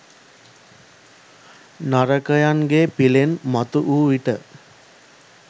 නරකයන්ගේ පිලෙන් මතුවූ විට